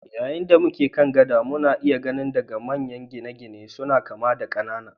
Yayin da muke kan gada, muna iya gani daga manyan gine-gine suna kama da ƙanana.